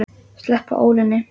Sleppa ólinni.